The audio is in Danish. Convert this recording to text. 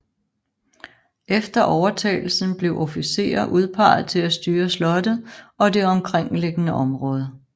Efter overtagelsen blev officerer udpeget til at styre slottet og det omkringliggende område